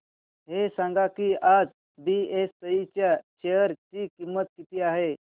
हे सांगा की आज बीएसई च्या शेअर ची किंमत किती आहे